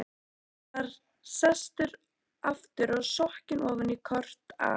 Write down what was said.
Hann var sestur aftur og sokkinn ofan í kort af